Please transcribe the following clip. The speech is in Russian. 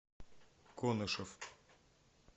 конышев